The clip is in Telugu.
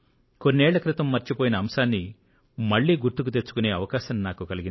కొన్నేళ్ల క్రితం మర్చిపోయిన అంశాన్ని మళ్లీ గుర్తుకు తెచ్చుకునే అవకాశం నాకు కలిగింది